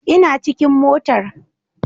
Ina cikin motar